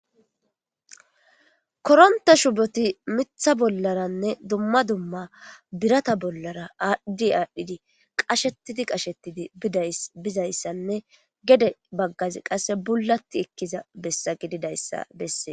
Koronta shuboti mitha bollaranne dumma dumma birata bollara adhid adhdhidi qashetidi qashettidi bizayssanne gede baggazi qasse bulatti ekkiza bessa gididayssa besses.